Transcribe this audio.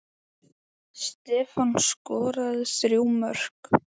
Stefán skoraði þrjú mörk.